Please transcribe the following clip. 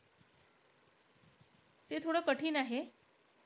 ते थोडं कठीण आहे.